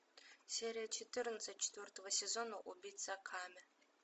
серия четырнадцать четвертого сезона убийца акаме